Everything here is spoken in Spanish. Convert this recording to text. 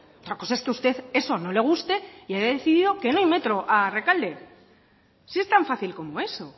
otra cosa es que usted eso no le guste y haya decidido que no hay metro a rekalde si es tan fácil como eso